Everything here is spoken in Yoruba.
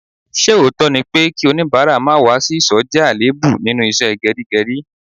Ṣé òótọ́ ni pé kí onibara má wá sí ìsò jẹ́ àléébù nínú ìṣe geri geri?